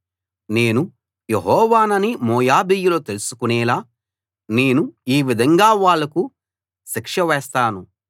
నేను యెహోవానని మోయాబీయులు తెలుసుకునేలా నేను ఈ విధంగా వాళ్లకు శిక్ష వేస్తాను